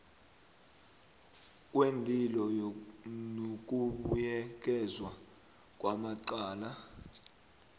kweenlilo nokubuyekezwa kwamacala